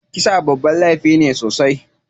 Kisa babban laifi sosai.